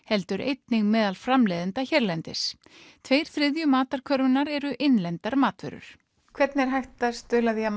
heldur einnig meðal framleiðenda hérlendis tveir þriðju matarkörfunnar eru innlendar matvörur hvernig er hægt að stuðla að